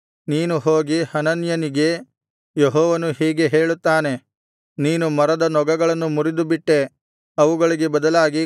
ನೀನು ಹೋಗಿ ಹನನ್ಯನಿಗೆ ಯೆಹೋವನು ಹೀಗೆ ಹೇಳುತ್ತಾನೆ ನೀನು ಮರದ ನೊಗಗಳನ್ನು ಮುರಿದುಬಿಟ್ಟೆ ಅವುಗಳಿಗೆ ಬದಲಾಗಿ